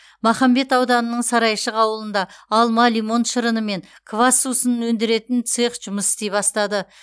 махамбет ауданының сарайшық ауылында алма лимон шырыны мен квас сусынын өндіретін цех жұмыс істей бастады